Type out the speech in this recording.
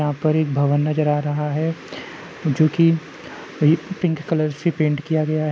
यहाँ पर एक भवन नज़र आ रहा है जो कि पिंक कलर से पेंट किया गया --